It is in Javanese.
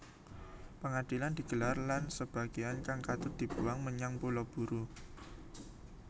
Pangadilan digelar lan sebagéan kang katut dibuang menyang Pulau Buru